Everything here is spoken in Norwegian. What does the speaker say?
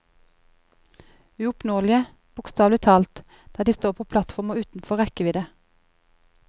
Uoppnåelige, bokstavelig talt, der de står på platformer utenfor rekkevidde.